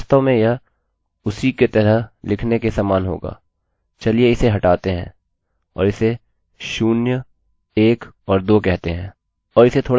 अतः वास्तव में यह उसी का तरह लिखने के ही समान होगा चलिए इसे हटाते हैं और इसे शून्यएक और दो कहते हैं